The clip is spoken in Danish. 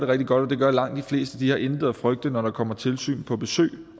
rigtig godt og det gør langt de fleste har intet at frygte når der kommer tilsyn på besøg